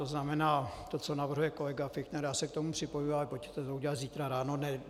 To znamená, to, co navrhuje kolega Fichtner, já se k tomu připojuji, ale pojďme to udělat zítra ráno.